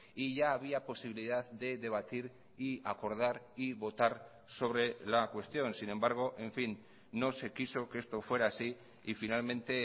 y ya había posibilidad de debatir y acordar y votar sobre la cuestión sin embargo en fin no se quiso que esto fuera así y finalmente